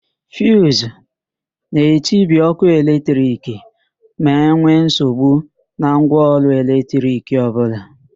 Fiuzu na-etibi ókụ́ eletrik ma enwe nsogbu na ngwaọrụ eletrik ọbụla.